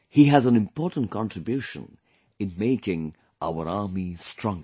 He has an important contribution in making our army stronger